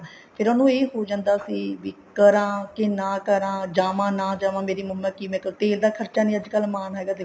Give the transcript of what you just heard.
ਫ਼ੇਰ ਉਹਨੂੰ ਇਹ ਹੋ ਜਾਂਦਾ ਸੀ ਵੀ ਕਰਾਂ ਕੇ ਨਾ ਕਰਾਂ ਜਾਵਾਂ ਨਾ ਜਾਵਾਂ ਮੇਰੀ ਉਮਰ ਕਿਵੇਂ ਕੱਤੀ ਇਹਦਾ ਖਰਚਾ ਨੀ ਅੱਜਕਲ ਮਾਨ